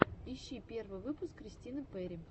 ищи первый выпуск кристины перри